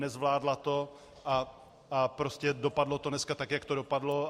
Nezvládla to a prostě dopadlo to dneska tak, jak to dopadlo.